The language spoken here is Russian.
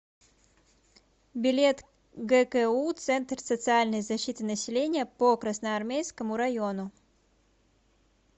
билет гку центр социальной защиты населения по красноармейскому району